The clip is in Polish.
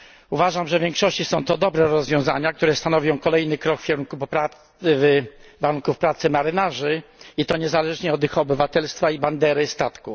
Uważam, że w większości są to dobre rozwiązania, które stanowią kolejny krok w kierunku poprawy warunków pracy marynarzy, i to niezależnie od ich obywatelstwa i bandery statku.